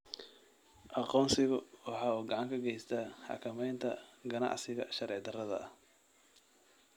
Aqoonsigu waxa uu gacan ka geystaa xakamaynta ganacsiga sharci darrada ah.